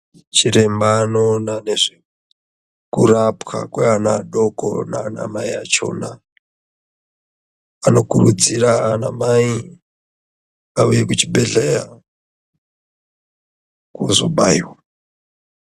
Chiremba anoona nezvekurapwa kweana adoko nanamai achona anokurudzirwa anamai auye kuchibhedhlera kuzobaiwa.